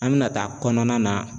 An bɛna taa kɔnɔna na